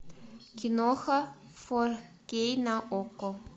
киноха фор кей на окко